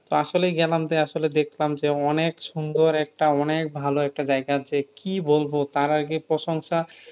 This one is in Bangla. তো আসলেই গেলাম যে আসলে দেখলাম যে অনেক সুন্দর একটা অনেক ভালো একটা জায়গা যে কি বলব তার আগে প্রশংসা